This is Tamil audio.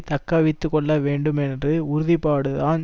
தக்க வைத்து கொள்ள வேண்டும் என்று உறுதிப்பாடு தான்